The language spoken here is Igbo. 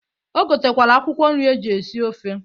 O gotekwere akwụkwọ nri eji esi ofe.